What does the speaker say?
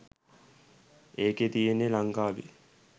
ඒකෙ තියෙන්නෙ ලංකාවෙ